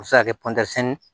O bɛ se ka kɛ